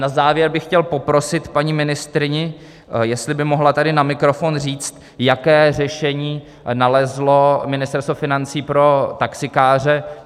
Na závěr bych chtěl poprosit paní ministryni, jestli by mohla tady na mikrofon říct, jaké řešení nalezlo Ministerstvo financí pro taxikáře.